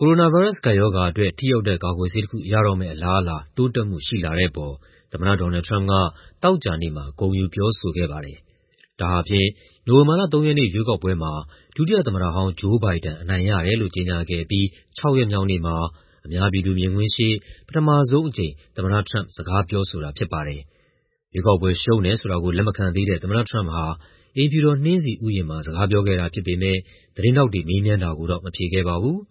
ကိုရိုနာဗိုင်းရပ်စ်ရောဂါအတွက် ထိရောက်တဲ့ ကာကွယ်ဆေးတခု ရတော့မယ့် အလားအလာ တိုးတက်မှုရှိလာတဲ့အပေါ် သမ္မတ Donald Trump က သောကြာနေ့မှာ ဂုဏ်ယူပြောဆိုခဲ့ပါတယ်။ ဒါဟာ နိုဝင်ဘာလ ၃ ရက်နေ့ ရွေးကောက်ပွဲမှာ ဒုတိယသမ္မတဟောင်း Joe Biden အနိုင်ရတယ်လို့ ကြေညာခဲ့ပြီး ၆ ရက်မြောက်နေ့မှာ အများပြည်သူမြင်ကွင်းရှေ့ သမ္မတ Trump ပထမဆုံးအကြိမ် စကားပြောဆိုတာ ဖြစ်ပါတယ်။ ရွေးကောက်ပွဲရှုံးတယ်ဆိုတာကို လက်မခံသေးတဲ့ သမ္မတ Trump ဟာ အိမ်ဖြူတော် နှင်းဆီဥယျာဉ်မှာ စကားပြောခဲ့တာဖြစ်ပေမယ့် သတင်းထောက်တွေ မေးမြန်းတာကိုတော့ မဖြေခဲ့ပါဘူး။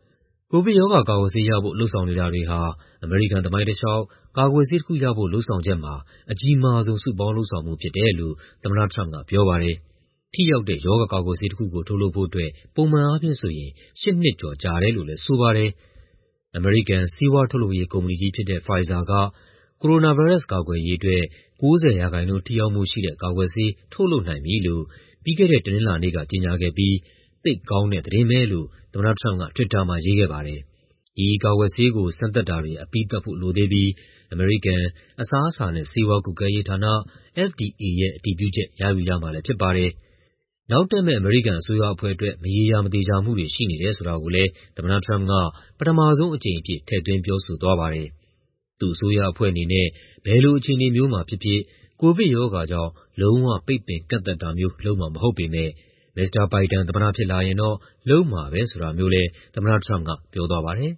ကိုဗစ်ရောဂါကာကွယ်ဆေးရဖို့ လုပ်ဆောင်နေတာတွေဟာ အမေရိကန် သမိုင်းတလျှောက် ကာကွယ်ဆေးတခုရဖို့ လုပ်ဆောင်ချက်မှာ အကြီးမားဆုံး စုပေါင်းလုပ်ဆောင်မှု ဖြစ်တယ်လို့ သမ္မတ Trump က ပြောပါတယ်။ ထိရောက်တဲ့ ရောဂါကာကွယ်ဆေးတခုကို ထုတ်လုပ်ဖို့အတွက် ပုံမှန်အားဖြင့်ဆိုရင် ၈ နှစ်ကျော်ကြာတယ်လို့လည်း ဆိုပါတယ်။ အမေရိကန် ဆေးဝါးထုတ်လုပ်ရေး ကုမ္ပဏီကြီးဖြစ်တဲ့ Pfizer က ကိုရိုနာဗိုင်းရပ်စ် ကာကွယ်ရေးအတွက် ၉၀ ရာခိုင်နှုန်း ထိရောက်မှုရှိတဲ့ ကာကွယ်ဆေး ထုတ်လုပ်နိုင်ပြီလို့ ပြီးခဲ့တဲ့ တနင်္လာနေ့က ကြေညာခဲ့ပြီး "သိပ်ကောင်းတဲ့သတင်း" ပဲလို့ သမ္မတ Trump က တွစ်တာမှာ ရေးခဲ့ပါတယ်။ ဒီကာကွယ်ဆေးကို စမ်းသပ်တာတွေ အပြီးသတ်ဖို့လိုသေးပြီး အမေရိကန် အစားအစာနဲ့ ဆေးဝါးကွပ်ကဲရေးဌာန (FDA) ရဲ့ အတည်ပြုချက် ရယူရမှာလည်း ဖြစ်ပါတယ်။ နောက်တက်မယ့် အမေရိကန်အစိုးရအဖွဲ့အတွက် မရေရာ မသေချာမှုတွေ ရှိနေတယ် ဆိုတာကိုလည်း သမ္မတ Trump က ပထမဆုံးအကြိမ်အဖြစ် ထည့်သွင်းပြောဆိုသွားပါတယ်။ သူ့အစိုးရအဖွဲ့အနေနဲ့ "ဘယ်လိုအခြေအနေမျိုးမှာဖြစ်ဖြစ်" ကိုဗစ်ရောဂါကြောင့် လုံးဝ ပိတ်ပင်ကန့်သတ်တာမျိုး လုပ်မှာမဟုတ်ပေမယ့် Mr. Biden သမ္မတဖြစ်လာရင်တော့ လုပ်မှာပဲဆိုတာမျိုးလည်း သမ္မတ Trump က ပြောသွားပါတယ်